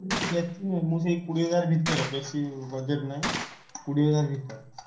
ମୁଁ ସେଇ କୋଡିଏ ହଜାର୍ ଭିତରେ ବେଶୀ budget ନାଇଁ, କୋଡିଏ ହଜାର୍ ଭିତରେ।